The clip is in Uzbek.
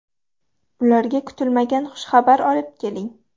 Ularga kutilmagan xushxabar olib keling.